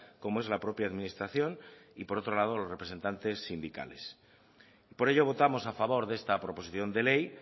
como es la propia administración y por otro lado los representantes sindicales y por ello votamos a favor de esta proposición de ley